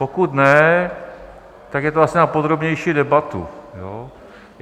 Pokud ne, tak je to asi na podrobnější debatu.